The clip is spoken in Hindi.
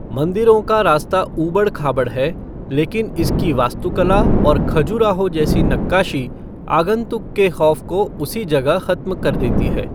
मंदिरों का रास्ता ऊबड़ खाबड़ है, लेकिन इसकी वास्तुकला और खजुराहो जैसी नक्काशी आगंतुक के खौफ को उसी जगह खत्म कर देती है।